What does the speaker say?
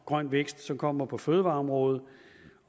grøn vækst som kommer på fødevareområdet